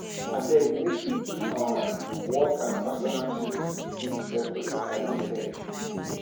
abeg make we keep um work and personal tins tins separate i don tell you